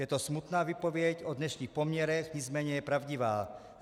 Je to smutná výpověď o dnešních poměrech, nicméně je pravdivá.